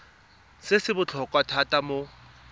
se se botlhokwa thata mo